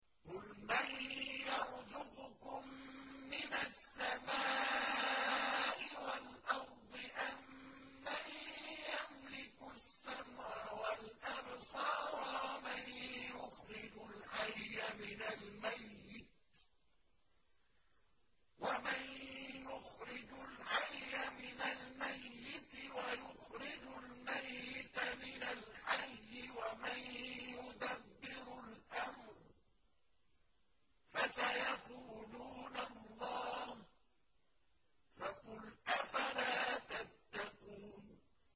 قُلْ مَن يَرْزُقُكُم مِّنَ السَّمَاءِ وَالْأَرْضِ أَمَّن يَمْلِكُ السَّمْعَ وَالْأَبْصَارَ وَمَن يُخْرِجُ الْحَيَّ مِنَ الْمَيِّتِ وَيُخْرِجُ الْمَيِّتَ مِنَ الْحَيِّ وَمَن يُدَبِّرُ الْأَمْرَ ۚ فَسَيَقُولُونَ اللَّهُ ۚ فَقُلْ أَفَلَا تَتَّقُونَ